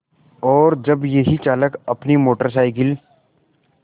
और जब यही चालक अपनी मोटर साइकिल